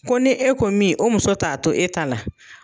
Ko ni e ko min, o muso t'a to e ta la